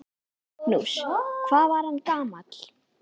Magnús: Hvað var hann gamall?